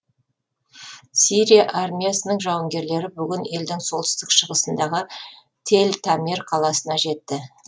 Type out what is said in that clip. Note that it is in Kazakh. сирия армиясының жауынгерлері бүгін елдің солтүстік шығысындағы тел тамер қаласына жетті